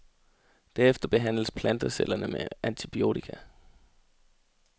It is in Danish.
Derefter behandles plantecellerne med antibiotika.